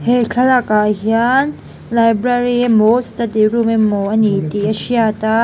he thlalak ah hian library emaw study emaw a ni tih a hriat a.